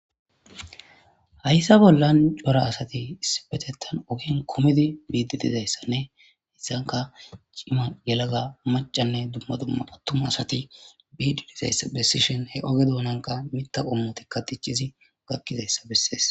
Hayssa bollan cora asati issipetettan ogen kumidi biidi dizayssanne hissanka cima,yelaga, macanne dumma dumma attuma asati biidi dizayssa bessishin he oge doonankka mita qommotikka tichizi gakkizayssa bessees